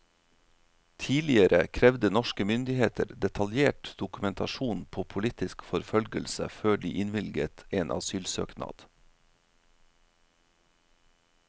Tidligere krevde norske myndigheter detaljert dokumentasjon på politisk forfølgelse før de innvilget en asylsøknad.